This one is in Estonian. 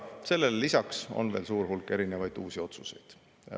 Sellele lisaks on veel suur hulk erinevaid uusi otsuseid.